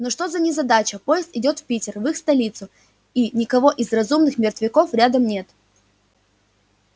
ну что за незадача поезд идёт в питер в их столицу и никого из разумных мертвяков рядом нет